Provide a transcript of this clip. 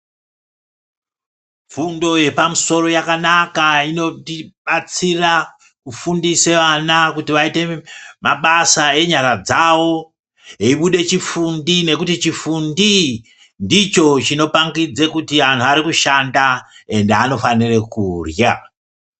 Fundo yepamusoro yakanaka inotibatsira kufundisa vana kuti vaite mabasa enyara dzawo veibuda chifundi nekuti chifundi ndicho chinopangudza kuti vantu vakushanda ende vanofanira kurya.